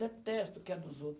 Detesto o que é dos outro.